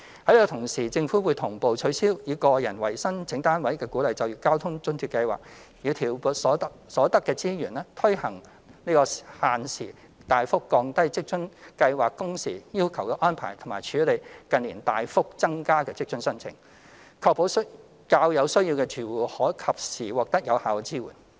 與此同時，政府會同步取消以個人為申請單位的鼓勵就業交通津貼計劃，以調撥所得的資源，推行限時大幅降低職津計劃工時要求的安排和處理近年大幅增加的職津申請，確保較有需要的住戶可及時獲得有效的支援。